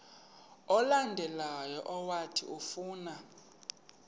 olandelayo owathi ufuna